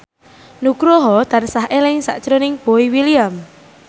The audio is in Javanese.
Nugroho tansah eling sakjroning Boy William